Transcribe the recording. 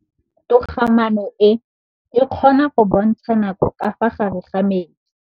Toga-maanô e, e kgona go bontsha nakô ka fa gare ga metsi.